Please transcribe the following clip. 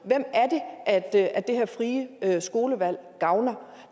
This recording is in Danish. er det er det her frie skolevalg gavner